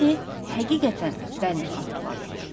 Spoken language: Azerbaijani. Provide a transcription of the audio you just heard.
İndi həqiqətən dəlini xatırladırdı.